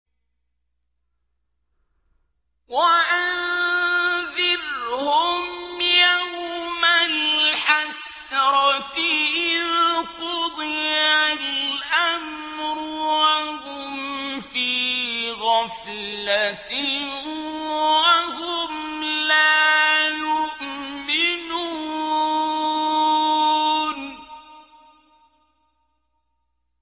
وَأَنذِرْهُمْ يَوْمَ الْحَسْرَةِ إِذْ قُضِيَ الْأَمْرُ وَهُمْ فِي غَفْلَةٍ وَهُمْ لَا يُؤْمِنُونَ